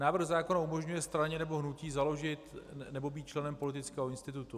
Návrh zákona umožňuje straně nebo hnutí založit nebo být členem politického institutu.